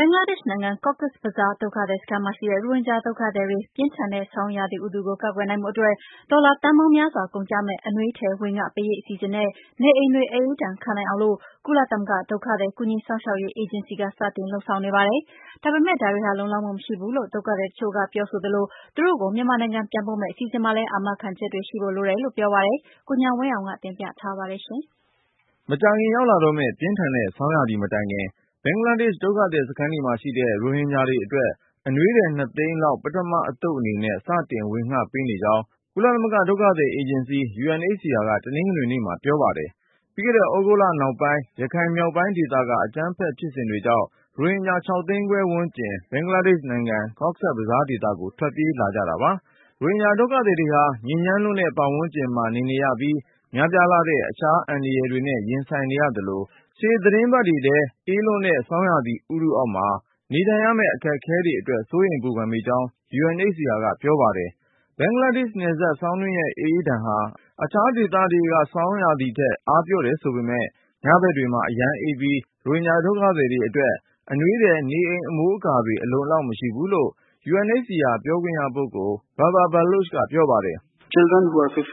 ဘင်္ဂလားဒေ့ရှ်နိုင်ငံ Cox’s Bazar ဒုက္ခသည်စခန်းမှာရှိတဲ့ ရိုဟင်ဂျာဒုက္ခသည်တွေ၊ ပြင်းထန်တဲ့ ဆောင်းရာသီဥတုကို ကာကွယ်နိုင်ဖို့အတွက် ဒေါ်လာသန်းပေါင်များစွာကုန်ကျမယ့် အနွေးထည်ဝေငှပေးရေး အစီအစဉ်နဲ့ နေအိမ်တွေ အအေးဒဏ်ခံနိုင်အောင်လို့ ကုလသမဂ္ဂ ဒုက္ခသည် ကူညီစောင့်ရှောက်ရေးအေဂျင်စီက စတင် လုပ်ဆောင်နေပါတယ်။ ဒါပေမယ့် ဒါတွေဟာ လုံလောက်မှုမရှိဘူးလို့ ဒုက္ခသည်တချို့ကပြောပြီး သူတို့ကို မြန်မာနိုင်ငံပြန်ပို့မယ့် အစီအစဉ်မှာ အာမခံချက်တွေရှိဖို့ လိုတယ်လို့ပြောပါတယ်။ ကိုဉာဏ်ဝင်းအောင်က တင်ပြထားပါတယ်။ မကြာခင်ရောက်လာမယ့် ပြင်းထန်တဲ့ ဆောင်းရာသီ မတိုင်ခင် ဘင်္ဂလားဒေ့ရှ် ဒုက္ခသည်စခန်းတွေမှာရှိတဲ့ ရိုဟင်ဂျာတွေအတွက် အနွေးထည် သိန်းလောက် ပထမအသုပ်အနေနဲ့ စတင်ဝေငှပေးနေကြောင်း ကုလသမဂ္ဂ ဒုက္ခသည်အေဂျင်စီ UNHCR က တနင်္ဂနွေနေ့မှာပြောပါတယ်။ ပြီးခဲ့တဲ့ သြဂုတ်လနောက်ပိုင်း ရခိုင်မြောက်ပိုင်းဒေသက အကြမ်းဖက်မှု ဖြစ်စဉ်တွေကြောင့် ရိုဟင်ဂျာ ၆သိန်းခွဲဝန်းကျင် ဘင်္ဂလားဒေ့ရှ်နိုင်ငံ ကော့ဆက်ဘဇားဒေသကို ထွက်ပြေးလာကြတာပါ။ ရိုဟင်ဂျာဒုက္ခသည်တွေဟာ ညစ်ညမ်းလွန်းတဲ့ ပတ်ဝန်းကျင်မှာ နေနေရပြီး များပြားလှတဲ့ အခြားအန္တရာယ်တွေနဲ့ ရင်ဆိုင်နေရသလို၊ ရှေ့သီတင်းပတ်တွေထဲ အေးလွန်းတဲ့ ဆောင်းရာသီဥတုအောက်မှာ နေထိုင်ရမယ့် အခက်အခဲတွေ အတွက် စိုးရိမ်ပူပန်မိကြောင်း UNHCR ကပြောပါတယ်။ ဘင်္ဂလားဒေ့ရှ်နယ်စပ် ဆောင်းတွင်းရဲ့အအေးဒဏ်ဟာ အခြားဒေသတွေ ဆောင်းရာသီထက် အားပျော့တယ်ဆိုပေမယ့် ညဘက်တွေမှာ အရမ်းအေးပြီး ရိုဟင်ဂျာဒုက္ခသည်တွေအတွက် အနွေးထည်၊ နေအိမ် အမိုးအကာတွေ အလုံအလောက် မရှိဘူးလို့ UNHCR ပြောခွင့်ရပုဂ္ဂိုလ် Babar Baloch ကပြောပါတယ်။ “ဘင်္ဂလားဒေ့ရှ်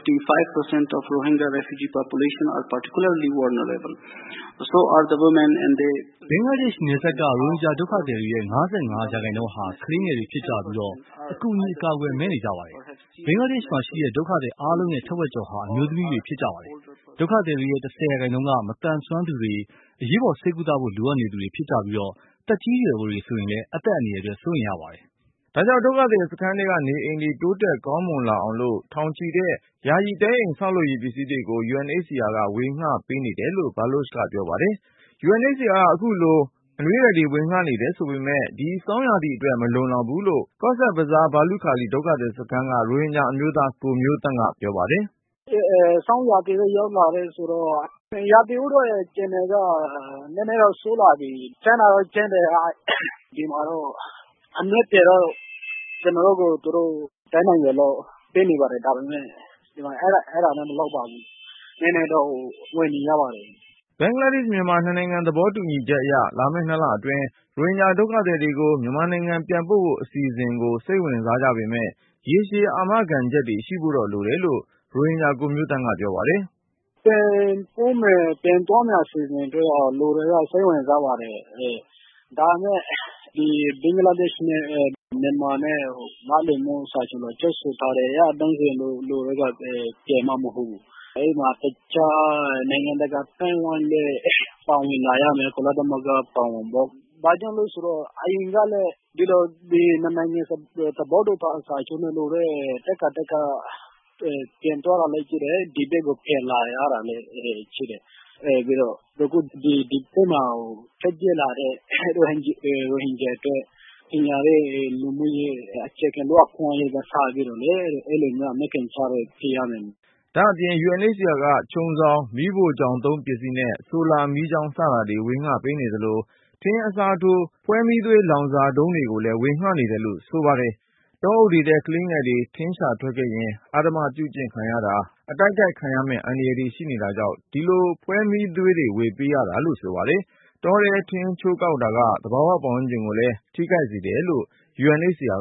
နယ်စပ်က ရိုဟင်ဂျာဒုက္ခသည်တွေရဲ့ ၅၅%ဟာ ကလေးငယ်တွေဖြစ်ကြပြီးအကူအညီ အကာအကွယ် မဲ့နေကြပါတယ်။ ဘင်္ဂလားဒေ့ရှ်မှာရှိတဲ့ ဒုက္ခသည်အားလုံးရဲ့ထက်ဝက်ကျော်ဟာ အမျိုးသမီးတွေ ဖြစ်ကြပါတယ်။ ဒုက္ခသည်တွေရဲ့ ၁၀%က မသန်စွမ်းသူတွေ အရေးပေါ်ဆေးကုသဖို့ လိုအပ်နေသူတွေ ဖြစ်ကြပြီး၊ သက်ကြီးရွယ်အိုတွေဆိုရင် အသက်အန္တရာယ်အတွက် စိုးရိမ်ရပါတယ်။” ဒါ့ကြောင့် ဒုက္ခသည်စခန်းထဲက နေအိမ်တွေ တိုးတက်ကောင်းမွန် လာအောင်လို့ ထောင်ချီတဲ့ ယာယီတဲအိမ် ဆောက်လုပ်ရေးပစ္စည်းတွေကို UNHCR ကဝေငှပေးနေတယ်လို့ Baloch ကပြောပါတယ်။ ဒါပေမယ့် UNHCR ကဝေငှပေးနေတဲ့ အနွေးထည် တွေက ဒီဆောင်းရာသီအတွက် မလုံလောက်ဘူးလို့ Cox’s Bazar ဘာလုခါလီ ဒုက္ခသည် စခန်းက ရိုဟင်ဂျာအမျိုးသား ကိုမျိုးသန့်ကပြော ပါတယ်။ "ဆောင်းရာသီလည်း ရောက်လာတယ်ဆိုတော့ ရာသီဥတုအခြေအနေက နည်းနည်းတော့ ဆိုးလာပြီ ။ ကြမ်းတာကတော့ ကြမ်းတယ် ဒီမှာတော့ အနွေးအထည်ကတော့ ကျနော်တို့ကို သူတို့ တက်နိုင်သလောက်ပေးနေပါတယ် ဒါပေမယ့် အဲဒါနဲ့ မလောက်ပါဘူး။ နည်းနည်းတော့ ဝယ်နေရပါတယ်။ " ဘင်္ဂလား-မြန်မာ နှစ်နိုင်ငံ သဘောတူချက်အရ လာမယ့် ၂လအတွင်း ရိုဟင်ဂျာဒုက္ခသည်တွေကို မြန်မာနိုင်ငံပြန်ပို့ဖို့ အစီအစဉ်ကို စိတ်ဝင် စားကြပေမယ့် ရေရှည်အာမခံချက်တွေ ရှိဖို့တော့လိုတယ်လို့ ရိုဟင်ဂျာကိုမျိုးသန့်က ပြောပါတယ်။ "ပြန်ပို့မယ် ပြန်သွားမယ်ဆိုရင်တော့ လူတွေက စိတ်ဝင်စားပါတယ်။ ဒါပေမယ့် ဘင်္ဂလားဒေ့ရှ်နဲ့ မြန်မာနဲ့ နားလည်မှုစာချွန်လွှာချုပ်ဆိုထားတယ်၊ အဲဒီမှာ တခြားနိုင်ငံတကာအသိုင်းအဝိုင်းလည်း ပါဝင်လာမယ် ကုလသမဂ္ဂလည်း ပါဝင်ပေါ့။ ဘာကြောင့်လဲဆိုတော့ အရင်ကလည်း ၂ နိုင်ငံ သဘောတူစာချုပ်နဲ့လုပ်တာ ထပ်ခါထပ်ခါ ပြန်သွားတာလည်းရှိတယ်။ ဒီဘက်ကို ပြန်လာရတာလည်း ရှိတယ်။ အခုဒီဘက်မှာ ထွက်ပြေးလာတဲ့ ရိုဟင်ဂျာတွေအတွက် ပညာရေး၊ လူမှုရေး၊ အခြေခံလူ့အခွင့်အရေးတွေ စပြီးတော့လေ အဲဒါမျိုးတွေ အာမခံချက်ပေးရမယ်။" ဒါ့အပြင် UNHCR က ခြုံစောင်၊ မီးဖိုချောင်သုံးပစ္စည်းနဲ့ ဆိုလာမီးချောင်း စတာတွေ ဝေငှပေးနေသလို၊ ထင်းအစားထိုး ဖွဲမီးသွေး လောင်စာတုံး တွေကိုလဲ ဝေငှနေတယ်လို့ဆိုပါတယ်။ တောအုပ်တွေထဲ ကလေးငယ်တွေ ထင်းရှာထွက်ခဲ့ရင် အဓမ္မပြုကျင့် ခံရတာ၊ အတိုက်ခိုက်ခံရမယ့် အန္တရာယ်တွေရှိတာကြောင့် ဒီလိုဖွဲမီးသွေး ဝေပေးရတာလို့ဆိုပါတယ်။ တောထဲ ထင်းချိုးကောက်တာက သဘာဝပတ်ဝန်းကျင်ကိုလဲ ထိခိုက် စေတယ်လို့ UNHCR